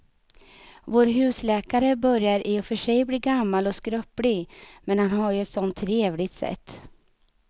Vår husläkare börjar i och för sig bli gammal och skröplig, men han har ju ett sådant trevligt sätt!